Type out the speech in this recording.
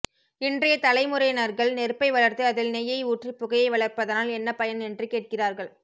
இன்றய தலைமுறைனர்கள் நெருப்பை வளர்த்து அதில் நெய்யை ஊற்றி புகையை வளர்ப்பதனால் என்ன பயன் என்று கேட்கிறார்கள்